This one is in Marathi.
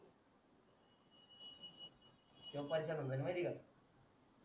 तो पैस्याला माहिती का